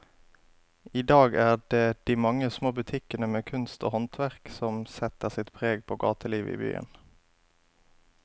I dag er det de mange små butikkene med kunst og håndverk som setter sitt preg på gatelivet i byen.